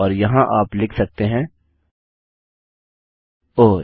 और यहाँ आप लिख सकते हैं - ओह160